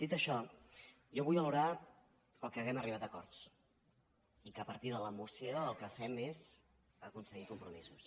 dit això jo vull valorar que hàgim arribat a acords i que a partir de la moció el que fem és aconseguir compromisos